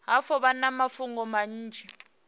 hafhu vha na mafhungo manzhi